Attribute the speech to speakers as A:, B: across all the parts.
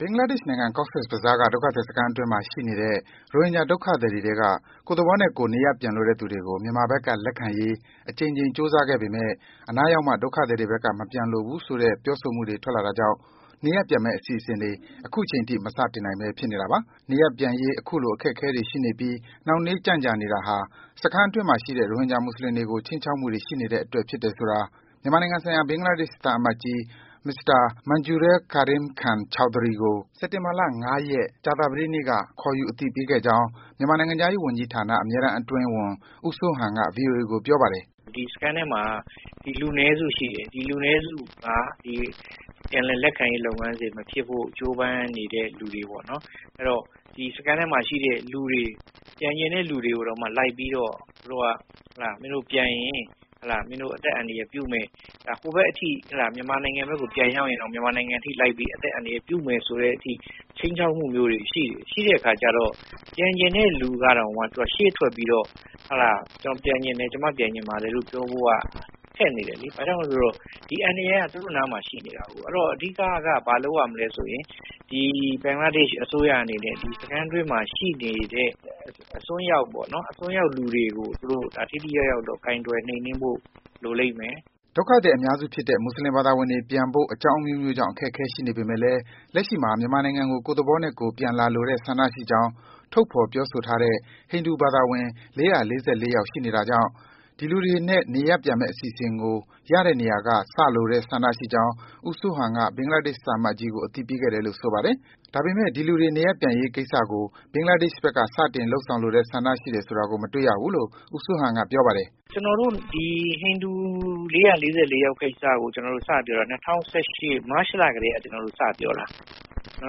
A: ဘင်္ဂလားဒေ့ရှ်နိုင်ငံ၊ Cox’s Bazar က ဒုက္ခသည်စခန်းတွေအတွင်းမှာ ရှိနေကြတဲ့ ရိုဟင်ဂျာ ဒုက္ခသည်တွေထဲက ကိုယ့်သဘောနဲ့ကိုယ် နေရပ်ပြန်လိုတဲ့သူတွေကို မြန်မာဘက်က ပြန်လည်လက်ခံရေး အကြိမ်ကြိမ် ကြိုးစားခဲ့ပေမယ့် အနားရောက်မှ ဒုက္ခသည်တွေဘက် မပြန်လိုဘူးဆိုတဲ့ ပြောဆိုမှုတွေ ထွက်လာတာကြောင့် နေရပ်ပြန်မယ့် အစီအစဉ်တွေ အခုချိန်ထိ မစတင်နိုင်ဘဲ ဖြစ်နေပါတယ်။ နေရပ်ပြန်ရေး အခုလို အခက်အခဲတွေရှိနေပြီး နှောင့်နှေး ကြန့်ကြာနေတာဟာ စခန်းအတွင်းမှာရှိတဲ့ ရိုဟင်ဂျာ မွတ်ဆလင်တွေကို ခြိမ်းချောက်မှုတွေ ရှိနေတဲ့အတွက်ဖြစ်တယ်ဆိုတာ မြန်မာနိုင်ငံဆိုင်ရာ ဘင်္ဂလားဒေ့ရှ် သံအမတ်ကြီး Mr. Manjurul Karim Khan Chowdhury ကို စက်တင်ဘာလ ၅ ရက်၊ ကြာသပတေးနေ့က ခေါ်ယူ အသိပေးခဲ့ကြာင်း မြန်မာနိုင်ငံခြားရေးဌာန အမြဲတမ်းအတွင်းဝန် ဦးစိုးဟန်က ဗွီအိုအေကို ပြောပါတယ်
B: ။ “စခန်းထဲမှာ ဒီလူနည်းစုရှိတယ်။ အဲဒီလူတွေက ပြန်လည်လက်ခံရေးတွေမဖြစ်ဖို ကြိုးပမ်းနေတဲ့လူတွေပေါ့နော်။ သူတို့က စခန်းထဲမှာ ပြန်ချင်တဲ့လူတွေကိုလိုက်ပြီး မင်းတို့ပြန်ရင် ဟိုဘက်မြန်မာနိုင်ငံအထိကို လိုက်ပြီး အသက်အန္တရာယ်ပြုမယ်ဆိုတဲ့အထိ ခြိမ်းခြောက်မှုတွေရှိတယ်။ အဲဒီအခါကျတော့ ပြန်ချင်တဲ့လူကတောင်မှ ရှေ့ထွက်ပြီးတော့ ကျနော်ပြန်ချင်တယ် ကျမ ပြန်ချင်ပါတယ်ဆိုပြီး ပြောဖို့ ခက်နေတယ်လေ။ ဘာကြောင့်လဲဆိုတော့ ဒီအန္တရာယ်က သူတို့နားမှာရှိနေတာကို အဓိကကတော့ ဘာလုပ်ရမလဲဆိုတော့ ဘင်္ဂလားဒေ့ရှ်အစိုးရအနေနဲ့ စခန်းတွင်းမှာရှိနေတဲ့ အစွန်းရောက်လူတွေကို သူတို့ ထိထိရောက်ရောက်တော့ ကိုင်တွယ်နှိမ်နင်းဖို့ လိုလိမ့်မယ်။
A: ” ဒုက္ခသည် အများစုဖြစ်တဲ့ မွတ်ဆလင်ဘာသာဝင်တွေ ပြန်ဖို့ အကြောင်းအမျိုးမျိုးကြောင့် အခက်အခဲ ရှိနေပေမယ့်လည်း လက်ရှိမှာ မြန်မာနိုင်ငံကို ကိုယ့်သဘောနဲ့ကိုယ် ပြန်လာလိုတဲ့ ဆန္ဒရှိကြောင်း ထုတ်ဖော် ပြောဆိုထားတဲ့ ဟိန္ဒူဘာသာဝင်တွေ ၄၄၄ ယောက် ရှိနေတာကြောင့် ဒီလူတွေနဲ့ နေရပ်ပြန်တဲ့အစီအစဉ်ကို ရတဲ့နေရာက စလိုတဲ့ဆန္ဒရှိကြောင်း ဦးစိုးဟန်က ဘင်္ဂလားဒေ့ရှ် သံအမတ်ကြီးကို အသိပေးခဲ့တယ်လို့ ဆိုပါတယ်။ ဒါပေမယ့် ဒီလူတွေ နေရပ်ပြန်ရေးကိစ္စကို ဘင်္ဂလားဒေ့ရှ်ဘက်က စတင် လုပ်ဆောင်လိုတဲ့ဆန္ဒရှိတာကို မတွေ့ရဘူးလို့ ဦးစိုးဟန်က ပြောပါတယ်။
B: “ ကျနော်တို့ ဟိန္ဒူဘာသာဝင် ၄၄၄ ယောက် ကိစ္စကို ကျနော်တို့ ၂၀၁၈ မတ်လကတည်းက စပြောတာ။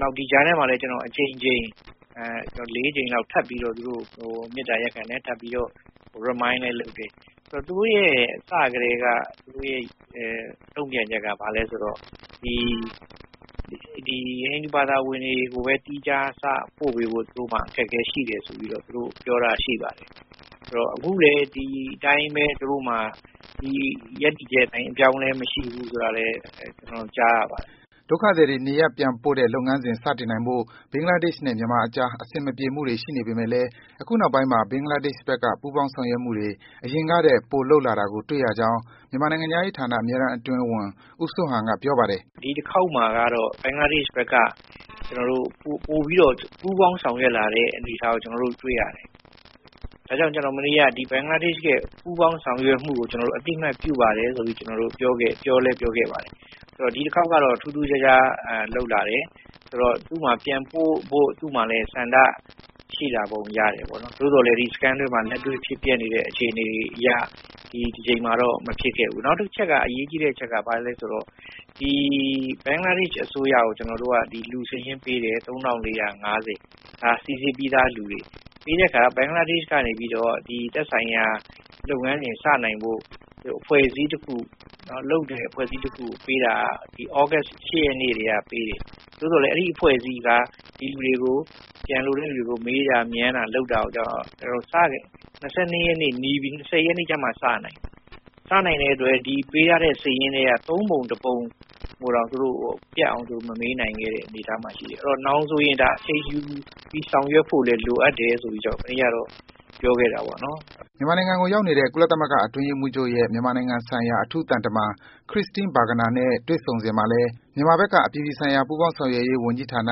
B: နောက် ဒီကြားထဲမှာလည်း အကြိမ်ကြိမ် ၄ ကြိမ်လောက်ထပ်ပြီးတော့ ကျနော်တို့ မေတ္တာရပ်ခံတယ် ထပ်ပြီးတော့လည်း remind လည်းလုပ်တယ်။ စကတည်းက သူတို့ တုံ့ပြန်ချက်က ဘာလဲဆိုတော့ ဒီ ဟိန္ဒူဘာသာဝင်တွေ ကိုပဲ သီးခြားပို့ပေးဖို့ သူတို့မှာ အခက်အခဲရှိတယ်ဆိုပြီးတော့ ပြောထားတာရှိပါတယ် အခုလည်းပဲ ဒီအတိုင်း သူတို့ရပ်တည်ချက် အပြောင်းအလဲမရှိဘူးဆိုတာ ကျနေ
A: ာ်တို့ ကြားရပါတယ်။” ဒုက္ခသည်တွေ နေရပ်ပြန်ပို့တဲ့လုပ်ငန်းစဉ် စတင်နိုင်ဖို့ ဘင်္ဂလားဒေ့ရှ်နဲ့ မြန်မာအကြား အဆင်မပြေမှုတွေ ရှိနေပေမယ့်လည်း အခုနောက်ပိုင်းမှာ ဘင်္ဂလားဒေ့ရှ်ဘက်က ပူးပေါင်း ဆောင်ရွက်မှုတွေ အရင်ကထက် ပိုလုပ်လာတာကို တွေ့ရကြောင်း မြန်မာနိုင်ငံခြားရေးဌာန အမြဲတမ်းအတွင်းဝန် ဦးစိုးဟန်က ပြောပါတယ်
B: ။ “ဒီတခေါက်မှာက ဘင်္ဂလားဒေ့ရှ်ဘက်က ပိုပြီးတော့ ပူးပေါင်းဆောင်ရွက်လာတဲ့ အနေအထားကို တွေ့ရတယ်။ ဒါကြောင့် ကျနော်မနေ့က ဘင်္ဂလားဒေ့ရှ်ရဲ့ ပူးပေါင်းဆောင်ရွက်မှုကို အသိအမှတ်ပြုပါတယ်ဆိုပြီး ပြောခဲ့တယ်။ ဒီတခေါက်ကတော့ ထူးထူးခြားခြားလုပ်လာတယ် သူ့မှာလည်း ပြန်ပို့ဖို့ ဆန္ဒရှိလာပုံရတယ်။ သို့သော်လည်း စခန်းအတွင်းမှာ လက်တွေ့ဖြစ်ပျက်နေတဲ့ အခြေအနေတွေအရ မဖြစ်ခဲ့ဘူး။ နောက်တချက် အရေးကြီးတဲ့အချက်ကတော့ ဘာလဲဆိုတော့ ဘင်္ဂလားဒေ့ရှ်အစိုးရကို လူစာရင်းပေးတယ် ၃၄၅၀ ပေါ့ စိစစ်ပြီးသားလူတွေ ပြီးတဲ့အခါ ဘင်္ဂလားဒေ့ရှ် ကနေပြီးတော့ သက်ဆိုင်ရာ လုပ်ငန်းတွေ စနိုင်ဖို့ အဖွဲ့အစည်းတခု ပေးတာက သြဂုတ် ၈ ရက်နေ့က ပေးတယ် သို့သော်လည်း အဲဒီအဖွဲ့အစည်းက ပြန်လိုတဲ့လူတွေကို မေးတာမြန်းတာတွေကတော့ ၂၀ ရက်နေ့မှ စနိုင်တယ် ။ စနိုင်တဲ့အတွက် ဒီပေးထားတဲ့ စာရင်းထဲက ၃ ပုံ ၁ ပုံ ကိုတောင် ပြန်ပြီးမပေးနိုင်တဲ့ အနေအထားမှာရှိတယ်။ နောက်ဆိုရင် ဒါက အချိန်ယူပြီးဆောင်ရွက်ဖို့လိုတယ်လို့ ကျနော်မနေ့ကလည်း ပြောခဲ့တာပေါေ့နာ်။
A: " မြန်မာနိုင်ငံကို ရောက်နေတဲ့ ကုလသမဂ္ဂ အတွင်းရေးမှူးချုပ်ရဲ့ မြန်မာနိုင်ငံဆိုင်ရာ အထူးသံတမန် Christine Schraner Burgener နဲ့ တွေ့ဆုံစဉ်မှာလည်း မြန်မာဘက်က အပြည်ပြည်ဆိုင်ရာ ပူးပေါင်းဆောင်ရွက်ရေးဝန်ကြီးဌာန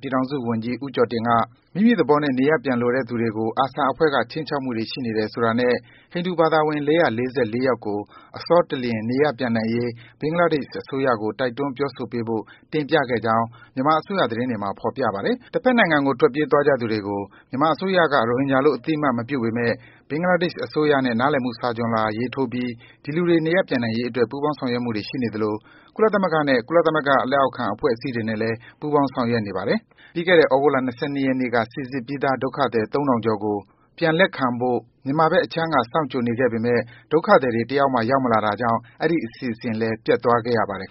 A: ပြည်ထောင်စုဝန်ကြီး ဦးကျော်တင်က - မိမိသဘောနဲ့ နေရပ်ပြန်လိုတဲ့သူတွေကို ARSA အဖွဲ့က ခြိမ်းချောက်မှုတွေ ရှိနေတယ်ဆိုတာနဲ့ ဟိန္ဒူဘာသာဝင် ၄၄၄ ယောက်ကို အစောတလျင် နေရပ်ပြန်နိုင်ရေး ဘင်္ဂလားဒေ့ရှ်အစိုးရကို တိုက်တွန်း ပြောဆိုပေးဖို့ တင်ပြခဲ့ကြောင်း မြန်မာအစိုးရ သတင်းတွေမှာ ဖော်ပြပါတယ်။ တဘက်နိုင်ငံကို ထွက်ပြေးသွားကြသူတွေကို မြန်မာအစိုးရက ရိုဟင်ဂျာလို့ အသိအမှတ်မပြုပေမယ့် ဘင်္ဂလားဒေ့ရှ်အစိုးရနဲ့ နားလည်မှု စာချွန်လွှာ ရေးထိုးပြီး ဒီလူတွေ နေရပ်ပြန်နိုင်ရေးအတွက် ပူးပေါင်း ဆောင်ရွက်မှုတွေ ရှိနေသလို၊ ကုလသမဂ္ဂ နဲ့ ကုလသမဂ္ဂ လက်အောက်ခံ အဖွဲ့အစည်းတွေနဲ့ ပူးပေါင်းဆောင်ရွက်နေပါတယ်။ ပြီးခဲ့တဲ့ သြဂုတ်လ ၂၂ ရက်နေ့ကလည်း စိစစ်ပြီးသား ဒုက္ခသည် ၃၀၀၀ ကျော်ကို ပြန်လက်ခံဖို့ မြန်မာဘက်အခြမ်းက စောင့်ကြိုနေခဲ့ပေမယ့် ဒုက္ခသည်တွေ တယောက်မှ ရောက်မလာတာကြောင့် အဲဒီ အစီအစဉ်လည်း ပျက်သွားခဲ့ရပါတယ်